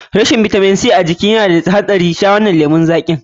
Rashin bitamin C a jiki na da haɗari, sha wannan lemun zaƙin.